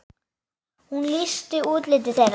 Hún lýsti útliti þeirra.